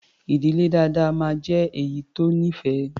Ì̀dílé dáadáa máa ń jé èyí tó nífẹ̀ẹ́.